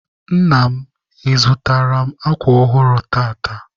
Nna m, ị zụtaara m akwa ọhụrụ tata?